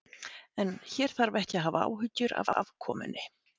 En hér þarf ekki að hafa áhyggjur af afkomunni.